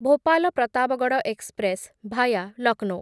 Bhopal Pratapgarh express via Lucknow